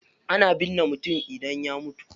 Ana binne mutum idan ya mutu.